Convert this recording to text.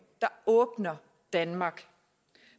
der åbner danmark